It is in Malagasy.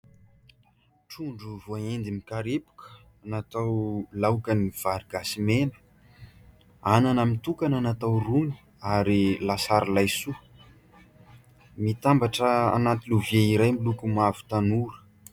Trondro voahendy mikarepoka natao laokan'ny vary gasy mena, anana mitokana natao rony ary lasary laisoa. Mitambatra anaty lovia iray miloko mavo tanora.